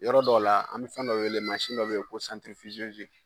Yɔrɔ dɔ la an bɛ fɛn dɔ wele mansin dɔ bɛ ye ko